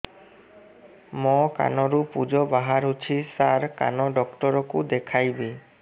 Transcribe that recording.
ମୋ କାନରୁ ପୁଜ ବାହାରୁଛି ସାର କାନ ଡକ୍ଟର କୁ ଦେଖାଇବି